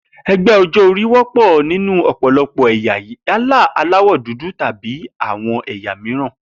E̩gbé̩ o̩jó̩-orí wó̩pò̩ nínú ò̩pò̩lo̩pò̩ è̩yà yálà aláwò̩ dúdú tàbí àwo̩n è̩yà mìíràn